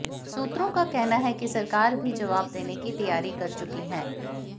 सूत्रों का कहना है कि सरकार भी जवाब देने की तैयारी कर चुकी है